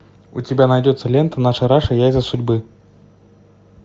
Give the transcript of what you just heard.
у тебя найдется лента наша раша яйца судьбы